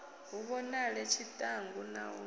hu vhonale tshiṱangu na u